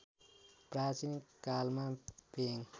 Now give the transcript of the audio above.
प्राचीन कालमा पेङ